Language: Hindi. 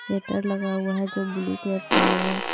शेटर लगा हुआ है जो ब्लू कलर का है।